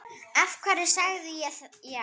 Af hverju sagði ég já?